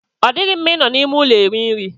Ọ dịghị mma I nọ n'ime ụlọ eri nri.